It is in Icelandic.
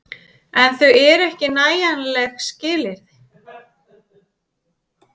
En þau eru ekki nægjanleg skilyrði.